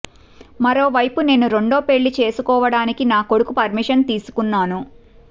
మరోవైపు నేను రెండో పెళ్లి చేసుకోవాడానికి నా కొడుకు పర్మిషన్ తీసుకున్నాను